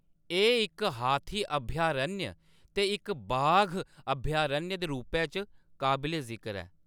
एह्‌‌ इक हाथी अभयारण्य ते इक बाघ अभयारण्य दे रूपै च काबले-जिकर ऐ।